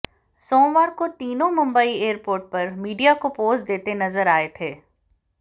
सोमवार को तीनों मुंबई एयरपोर्ट पर मीडिया को पोज़ देते नज़र आए थे